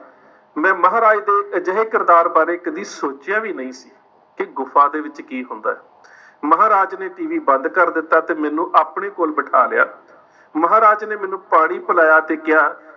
ਮੈਂ ਮਹਾਰਾਜ ਦੇ ਅਜਿਹੇ ਕਿਰਦਾਰ ਬਾਰੇ ਕਦੇ ਸੋਚਿਆ ਵੀ ਨਹੀਂ ਸੀ, ਕਿ ਗੁਫ਼ਾ ਦੇ ਵਿੱਚ ਕੀ ਹੁੰਦੇ। ਮਹਾਰਾਜ ਨੇ TV ਬੰਦ ਕਰ ਦਿੱਤਾ ਤੇ ਮੈਨੂੰ ਆਪਣੇ ਕੋਲ ਬਿੱਠਾ ਲਿਆ। ਮਹਾਰਾਜ ਨੇ ਮੈਨੂੰ ਪਾਣੀ ਪਿਲਾਇਆ ਤੇ ਕਿਹਾ,